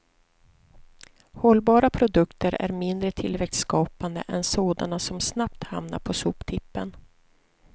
Hållbara produkter är mindre tillväxtskapande än sådana som snabbt hamnar på soptippen.